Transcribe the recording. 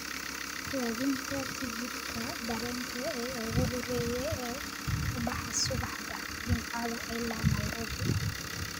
Raadinta tigidhka tareenka ee ugu horreeya ee ka baxa subaxda Jimcaha ilaa nairobi